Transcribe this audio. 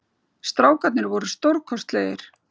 Strákarnir voru stórkostlegir